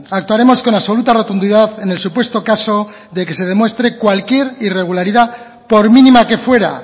actuaremos con absoluta rotundidad en el supuesto caso que se demuestre cualquier irregularidad por mínima que fuera